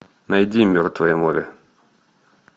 найди мертвое море